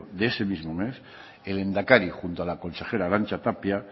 de ese mismo mes el lehendakari junto a la consejera arantxa tapia